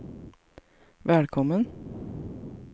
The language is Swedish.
välkommen